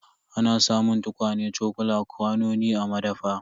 Ana samun tukwane, cokula, kwanoni a madafa.